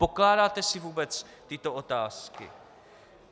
Pokládáte si vůbec tyto otázky?